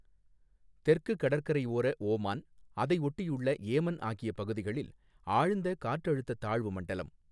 தெற்கு கடற்கரையோர ஓமான், அதையொட்டியுள்ள ஏமன் ஆகிய பகுதிகளில், ஆழ்ந்த காற்றழுத்த தாழ்வு மண்டலம்.